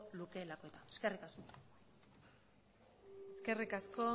lukeelako eskerrik asko eskerrik asko